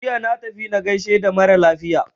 Jiya na tafi na gaishe da mara lafiya.